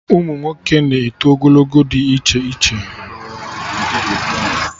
Ụmụnwoke na-eto ogologo dị iche iche